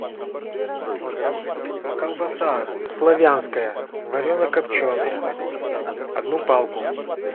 колбаса славянская варено копченая одну палку